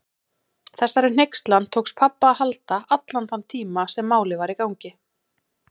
Þessari hneykslan tókst pabba að halda allan þann tíma sem Málið var í gangi.